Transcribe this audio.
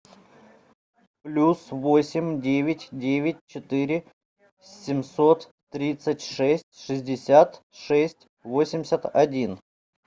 плюс восемь девять девять четыре семьсот тридцать шесть шестьдесят шесть восемьдесят один